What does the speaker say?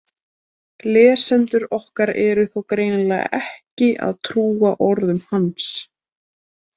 Lesendur okkar eru þó greinilega ekki að trúa orðum hans!